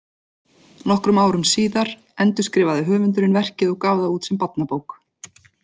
Nokkrum árum síðar endurskrifaði höfundurinn verkið og gaf það út sem barnabók.